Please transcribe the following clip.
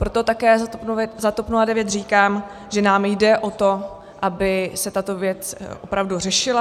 Proto také za TOP 09 říkám, že nám jde o to, aby se tato věc opravdu řešila.